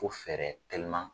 Ko fɛɛrɛ teliman.